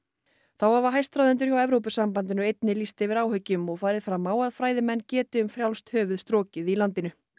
þá hafa hæstráðendur hjá Evrópusambandinu einnig lýst yfir áhyggjum og farið fram á að fræðimenn geti um frjálst höfuð strokið í landinu